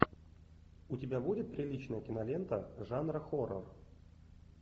у тебя будет приличная кинолента жанра хоррор